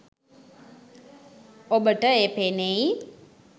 ඔබට එය පෙනෙයි